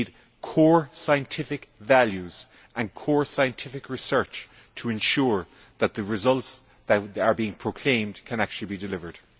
We need core scientific values and core scientific research to ensure that the results that are being proclaimed can actually be delivered.